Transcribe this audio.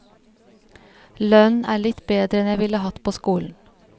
Lønnen er litt bedre enn jeg ville hatt på skolen.